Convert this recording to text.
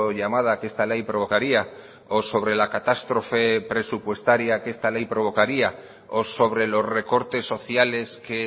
llamada que esta ley provocaría o sobre la catástrofe presupuestaria que esta ley provocaría o sobre los recortes sociales que